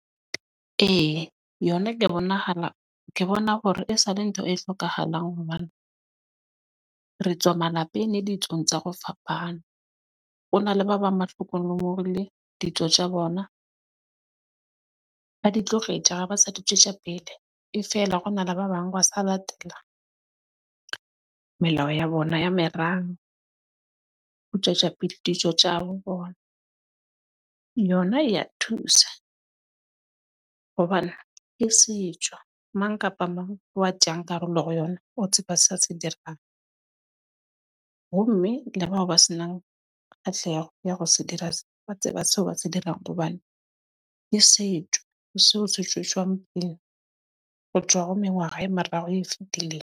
E, yona ke ya bonahala ke bona hore e sa le ntho e hlokahalang hobane re tswa malapeng le ditsong tsa go fapana. Ho na le ba bang le ditjo tsa bona. Ba di tlogetje ha ba sa di tjwetja pele e fela, hona le ba bang ba sa latela melao ya bona ya merabe. Ho tjwetja pele, dijo tje ha bo bona yona e ya thusa hobane ke setjo mang kapa mang ya tjeyang karolo ho yona. O tseba se a se dirang ho mme le bao ba se nang kgahleho ya hore se dira se ba tseba seo ba se dirang. Hobane ke setjo seo seshweshwe pele ho tjwa ho e meraro e fitileng.